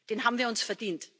Den haben wir uns verdient.